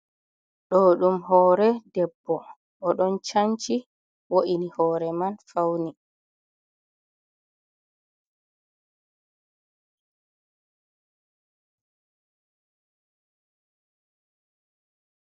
Ɗo ɗum hore debbo oɗon canci wo’ini hore man fauni.